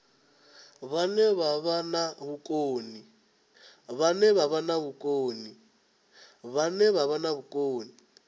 vhane vha vha na vhukoni